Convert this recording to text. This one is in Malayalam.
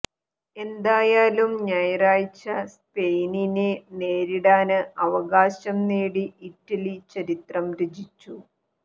എന്തായാലും ഞായറാഴ്ച സ്പെയിനിനെ നേരിടാന് അവകാശം നേടി ഇറ്റലി ചരിത്രം രചിച്ചു